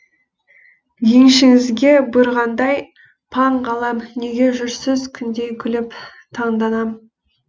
еншіңізге бұйырғандай паң ғалам неге жүрсіз күндей күліп таңданам